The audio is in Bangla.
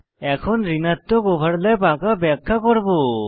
এখন ঋণাত্মক ওভারল্যাপ আঁকা ব্যাখ্যা করব